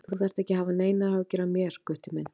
Þú þarft ekki að hafa neinar áhyggjur af mér, Gutti minn.